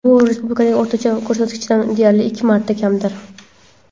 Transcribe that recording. Bu respublikadagi o‘rtacha ko‘rsatkichdan deyarli ikki marta kamdir.